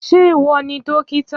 Ṣé ìwọ ni dókítà?